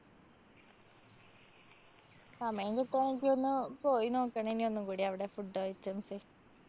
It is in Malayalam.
സമയം കിട്ടാണങ്കി ഒന്ന് പോയി നോക്കണം ഇനി ഒന്നും കൂടി അവടെ food items.